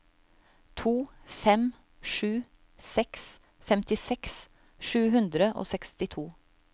to fem sju seks femtiseks sju hundre og sekstito